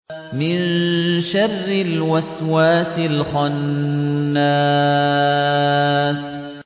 مِن شَرِّ الْوَسْوَاسِ الْخَنَّاسِ